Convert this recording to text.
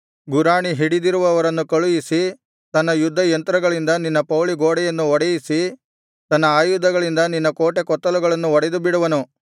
ಗುರಾಣಿ ಹಿಡಿದಿರುವವರನ್ನು ಕಳುಹಿಸಿ ತನ್ನ ಯುದ್ಧ ಯಂತ್ರಗಳಿಂದ ನಿನ್ನ ಪೌಳಿಗೋಡೆಯನ್ನು ಹೊಡೆಯಿಸಿ ತನ್ನ ಆಯುಧಗಳಿಂದ ನಿನ್ನ ಕೋಟೆ ಕೊತ್ತಲಗಳನ್ನು ಒಡೆದು ಬಿಡುವನು